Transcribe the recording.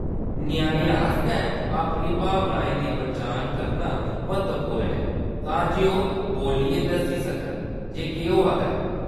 ञ्याणें आस्तै अपनी भावनाएं दी पन्छान करना म्हत्तवपूर्ण ऐ तां जे ओह्‌‌ बोल्लियै दस्सी सकन जे केह्‌‌ होआ दा ऐ।